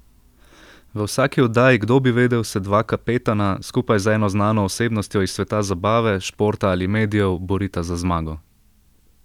V vsaki oddaji Kdo bi vedel se dva kapetana, skupaj z eno znano osebnostjo iz sveta zabave, športa ali medijev, borita za zmago.